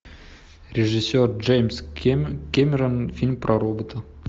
режиссер джеймс кэмерон фильм про робота